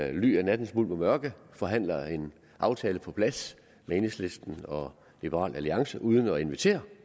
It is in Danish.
i ly af nattens mulm og mørke forhandler en aftale på plads med enhedslisten og liberal alliance uden at invitere